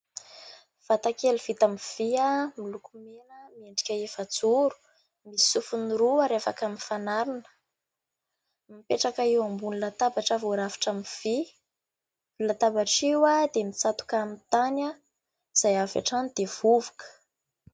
Vatakely vita amin'ny vy miloko mena, miendrika efajoro, misy sofiny roa ary afaka mifanarona. Mipetraka eo ambony latabatra voarafitra amin'ny vy. Io latabatra io dia mitsatoka amin'ny tany izay avy hatrany dia vovoka.